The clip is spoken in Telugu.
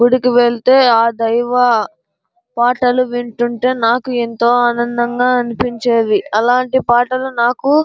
గుడికి వెళ్తే ఆ దైవ పాటలు వింటుంట్టే నాకు ఎంతో ఆనందంగా అనిపించేవి అలాంటి పాటలు నాకు --